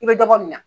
I bɛ dɔgɔ nin na